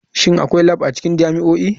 Shin akwai lab a cikin jami'o'i?